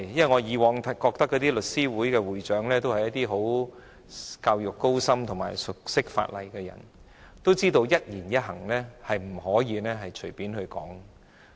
我以往覺得律師會會長都是一些受過高深教育及熟悉法例的人，知道說話不可以太隨便。